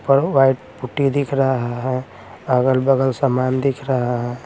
पर वो white putty दिख रहा है अगल-बगल सामान दिख रहा--